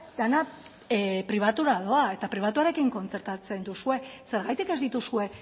dena pribatura doa eta pribatuarekin kontzertatzen duzue zergatik ez dituzue